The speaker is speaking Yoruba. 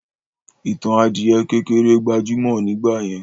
Ìtàn adìyẹ kékeré gbajúmọ̀ nígbàyẹn.